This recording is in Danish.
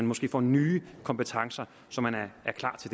måske får nye kompetencer så man er klar til